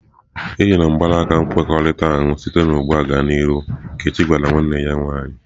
E yila mgbanaka nkwekọrịta ahụ site ugbu a gaa n'ihu!" Nkechi gwara nwanne ya nwaanyị ""